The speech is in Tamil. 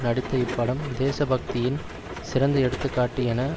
நடித்த இப்படம் தேசபக்தியின் சிறந்த எடுத்து காட்டு என